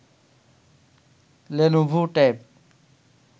Lenovo tab